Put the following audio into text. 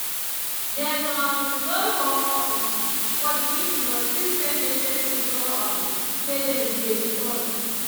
dem um no show um for the meeting but still send message to show um say dem dey support